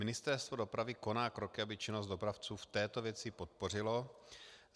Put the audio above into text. Ministerstvo dopravy koná kroky, aby činnost dopravců v této věci podpořilo.